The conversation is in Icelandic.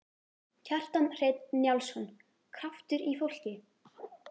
Kjartan Hreinn Njálsson: Kraftur í fólki?